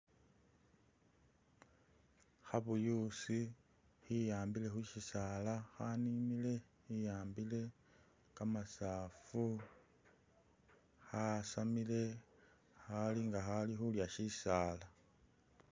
Khabuyusi khiambile khusyisaala khaninile khiambile, kamasafu khasamile khalinga khali khulya syisaala.